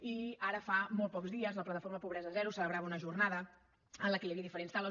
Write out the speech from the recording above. i ara fa molts pocs dies la plataforma pobresa zero celebrava una jornada en què hi havia diferents taules